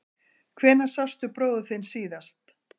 Hvenær sástu bróður þinn síðast?